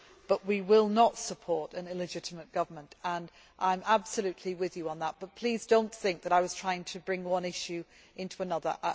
But we will not support an illegitimate government, and I completely agree with you on that but please do not think that I was trying to bring one issue into another.